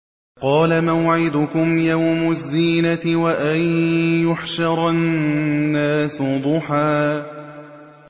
قَالَ مَوْعِدُكُمْ يَوْمُ الزِّينَةِ وَأَن يُحْشَرَ النَّاسُ ضُحًى